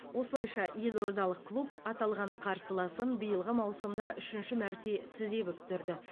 осылайша елордалық клуб аталған қарсыласын биылғы маусымда үшінші мәрте тізе бүктірді